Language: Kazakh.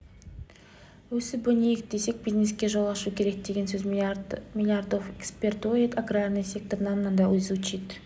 өсіп-өнейік десек бизнеске жол ашу керек деген сөз миллиардов экспортирует аграрный сектор нам надо изучить